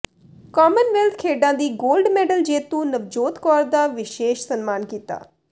Commonwealth ਖੇਡਾਂ ਦੀ gold medal ਜੇਤੂ ਨਵਜੋਤ ਕੌਰ ਦਾ ਵਿਸ਼ੇਸ਼ ਸਨਮਾਨ ਕੀਤਾ